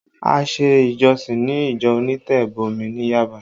A ṣe ìjọsìn ni ìjọ onítẹ̀bọmi ní Yaba